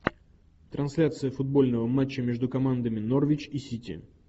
трансляция футбольного матча между командами норвич и сити